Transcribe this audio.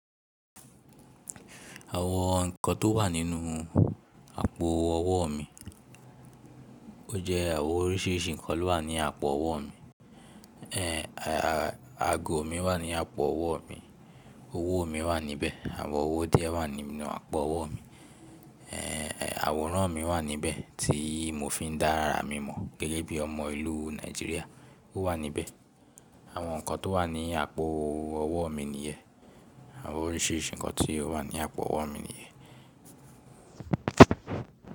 Àwọn nǹkan tó wà nínú àpò ọwọ́ mi, ó jẹ́ àwọn oríṣiríṣi nǹkan ló wà ní àpò ọwọ́ mi. Ago mi wà ní àpò ọwọ́ mi, owó mi wà níbẹ̀. Àwọn owó díẹ̀ wà nínú àpò ọwọ́ mi. Àwòrán mi wà níbẹ̀ tí mo fi ń dá àra mímọ̀ gẹ́gẹ́ bí ọmọ ìlú Nàìjíríà ó wà níbẹ̀. Àwọn nǹkan tó wà ní àpò ọwọ́ mi nìyẹn, àwọn oríṣiríṣi nǹkan tí ó wà ní àpò ọwọ́ mi nìyẹn.